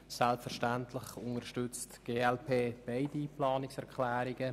Selbstverständlich unterstützt die glp beide Planungserklärungen.